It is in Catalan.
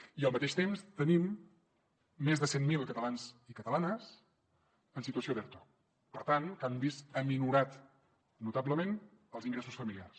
i al mateix temps tenim més de cent mil catalans i catalanes en situació d’erto per tant que han vist minorats notablement els ingressos familiars